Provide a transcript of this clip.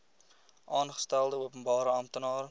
aangestelde openbare amptenaar